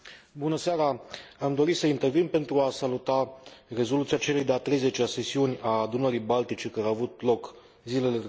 Am dorit să intervin pentru a saluta rezoluția celei de a 30 a sesiuni a Adunării Baltice, care a avut loc zilele trecute în Estonia.